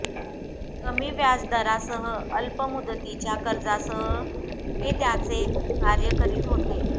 कमी व्याजदरासह अल्प मुदतीच्या कर्जासह हे त्याचे कार्य करीत होते